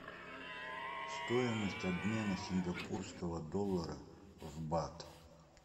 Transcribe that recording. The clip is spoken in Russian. стоимость обмена сингапурского доллара в бат